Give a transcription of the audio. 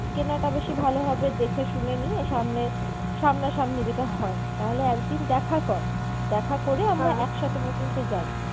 কেনাটা বেশি ভালো হবে দেখে শুনে নিয়ে সামনে, সামনা সামনি যেটা হয় তাহলে একদিন দেখা কর, দেখা করে আমরা একসাথে বরঞ্চ যাই।